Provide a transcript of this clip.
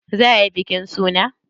Za ayi bikin suna?